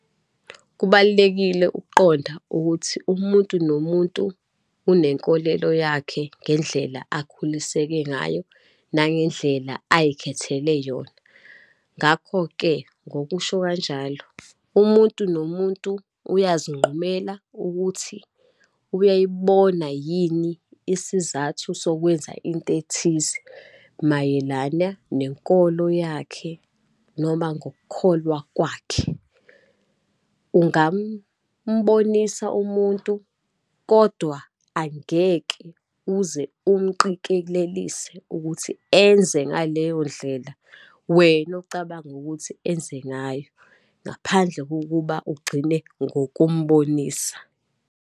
Kubalulekile ukuqonda ukuthi umuntu nomuntu unenkolelo yakhe ngendlela akhuliseke ngayo, nangendlela ayikhethele yona. Ngakho-ke, ngokusho kanjalo, umuntu nomuntu uyazinqumela ukuthi uyayibona yini isizathu sokwenza into ethize, mayelana nenkolo yakhe, noma ngokukholwa kwakhe. Ungambonisa umuntu kodwa angeke uze umqikelelise ukuthi enze ngaleyo ndlela wena ocabanga ukuthi enze ngayo, ngaphandle kokuba ugcine ngokumbonisa.